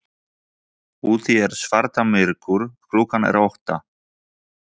Úti er svarta myrkur, klukkan er átta.